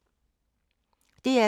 DR2